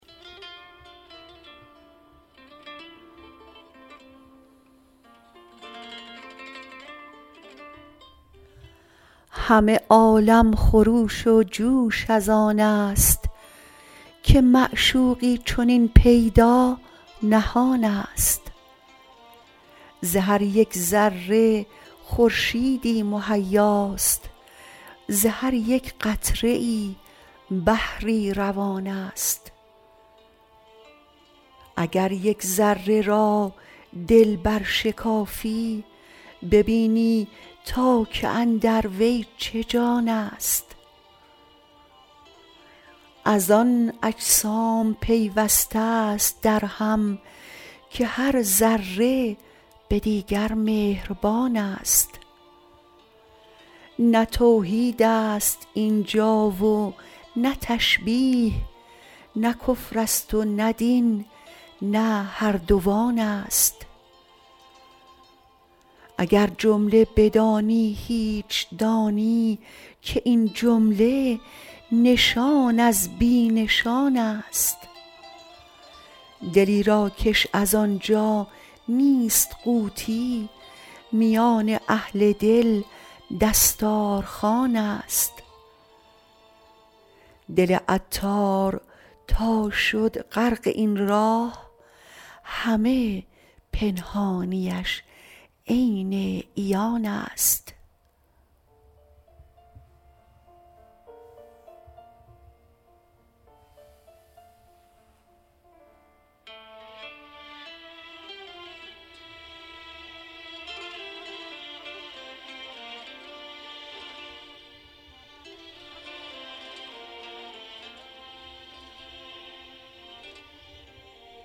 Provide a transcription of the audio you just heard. همه عالم خروش و جوش از آن است که معشوقی چنین پیدا نهان است ز هر یک ذره خورشیدی مهیاست ز هر یک قطره ای بحری روان است اگر یک ذره را دل برشکافی ببینی تا که اندر وی چه جان است از آن اجسام پیوسته است درهم که هر ذره به دیگر مهربان است نه توحید است اینجا و نه تشبیه نه کفر است و نه دین نه هر دوان است اگر جمله بدانی هیچ دانی که این جمله نشان از بی نشان است دلی را کش از آنجا نیست قوتی میان اهل دل دستار خوان است دل عطار تا شد غرق این راه همه پنهانیش عین عیان است